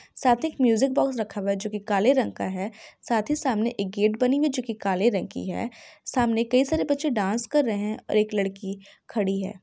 साथ एक music box रखा हुआ है। जो की काले रंग का है साथ ही सामने एक गेट बनी हुई है जो की काले रंग की है। सामने कई सारे बच्चे डांस कर रहे है और एक लड़की खड़ी है।